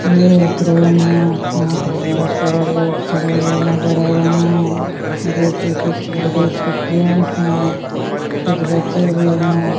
ये एक क्रेन है यहां पे बहोत सारे लोग खड़े हुए नजर आ रहे हैं जो कि कुछ लेडिस कुछ जेंट्स है कुछ बच्चे भी हैं।